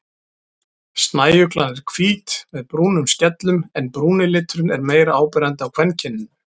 Snæuglan er hvít með brúnum skellum en brúni liturinn er meira áberandi á kvenkyninu.